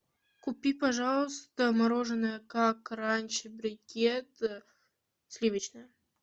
купи пожалуйста мороженое как раньше брикет сливочное